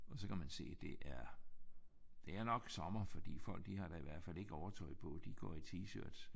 Og så kan man se at det er det er nok sommer for folk de har i hvert fald ikke overtøj på. De går i t-shirts